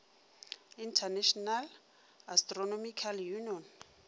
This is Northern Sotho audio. international astronomical union